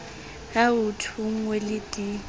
ya ho thonngwa le d